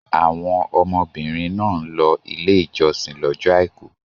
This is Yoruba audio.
Àwọn ọmọbìnrin náà ń lọ Ilé-ìjọsìn lọ́jọ́ àìkú.